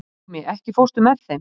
Númi, ekki fórstu með þeim?